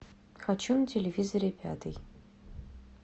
хочу на телевизоре пятый